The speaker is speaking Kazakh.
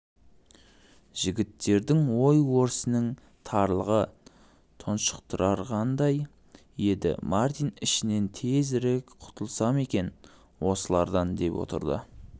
жігіттердің ой-өрісінің тарлығы тұншықтырғандай еді мартин ішінен тезірек құтылсам екен осылардан деп отырды